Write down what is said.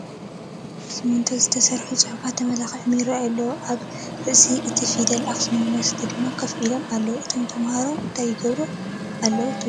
ብስሚንቶ ዝተሰርሐ ፅሕፈት ተመላኺዑ ይረአ ኣሎ፡፡ ኣብ ርእሲ እቲ ፊደላት ኣክሱም ዩኒቨርስቲ ድማ ከፍ ኢሎም ኣለው፡፡ እቶም ተምሃሮ እንታይ ይገብሩ ኣለው ትብሉ?